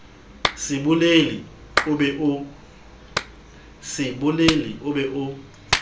se bolele o be o